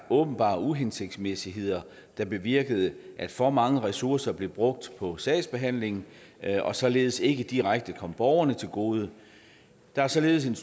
åbenbare uhensigtsmæssigheder der bevirkede at for mange ressourcer blev brugt på sagsbehandling og således ikke direkte kom borgerne til gode der er således et